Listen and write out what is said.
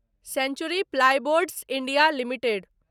century plyboards India limited